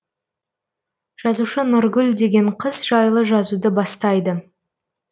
жазушы нұргүл деген қыз жайлы жазуды бастайды